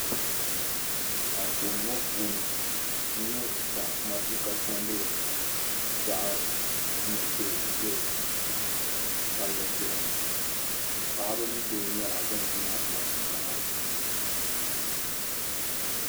Anfooni ŋɔ puuni n nya ka matuuka chandili din nyɛ zaɣ' nuɣiso zaya palli zuɣu. Paɣiba ni bihi nyɛla ban yina matuuka ŋɔ puuni.